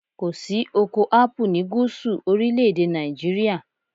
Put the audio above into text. Kò sí oko Ápù ni gúúsù orílẹ̀ èdè Nàìjíríà.